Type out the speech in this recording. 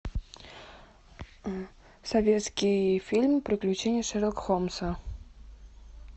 советский фильм приключения шерлока холмса